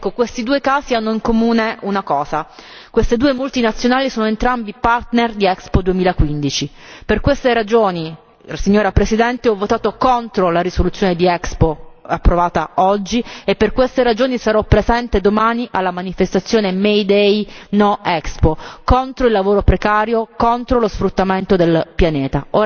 Questi due casi hanno in comune una cosa queste due multinazionali sono entrambe partner di Expo 2015, per queste ragioni, Signora Presidente, ho votato contro la risoluzione di Expo, approvata oggi, e per queste ragioni sarò presente domani alla manifestazione May Day No Expo, contro il lavoro precario, contro lo sfruttamento del pianeta.